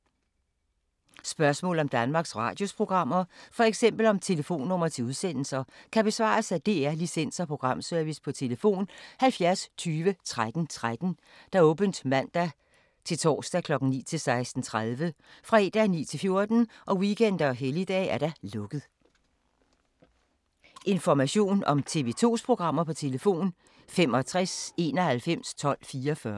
Spørgsmål om Danmarks Radios programmer, f.eks. om telefonnumre til udsendelser, kan besvares af DR Licens- og Programservice: tlf. 70 20 13 13, åbent mandag-torsdag 9.00-16.30, fredag 9.00-14.00, weekender og helligdage: lukket.